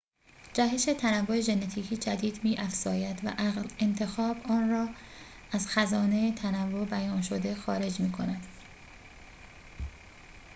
جهش تنوع ژنتیکی جدید می‌افزاید و انتخاب آن را از خزانه تنوع بیان‌شده خارج می‌کند